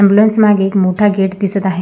Ambulance मागे एक मोठा गेट दिसत आहे.